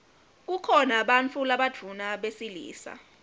kukhona bantfu labadvuna besilisa